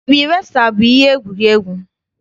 Dabi resa bụ ihe egwuregwu.